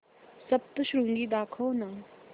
सप्तशृंगी दाखव ना